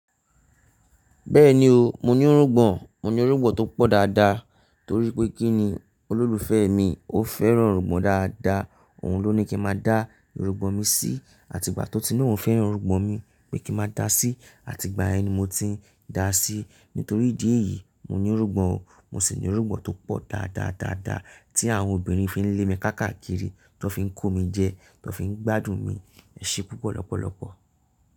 Bẹ́ẹ̀ni o, mo ní irungbọ̀n, mo ní irungbọ̀n tó pọ̀ dáadáa. Torí pé kí ni olólùfẹ́ mi ó fẹ́ràn irungbọ̀n dáadáa, òun ló ní kí n má dá irungbọ̀n mi sí, àti ìgbà tí ó ti ni ohun fẹ́ràn irungbọ̀n mi pé kí n má dá a sí, àti ìgbà yen ni mo ti ń dá a sí. Nítorí ìdí èyí, mo ní irungbọ̀n o, mo sì ní irungbọ̀n tó pọ̀ dáadáádáa, tí àwọn obìnrin fi ń lé mi káàkaakiri, tan fi ń kó mi jẹ, tan fi ń gbádùn mi. Ẹ ṣe púpọ̀ lọ́pọ̀lọpọ̀.